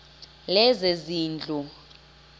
lezezindlu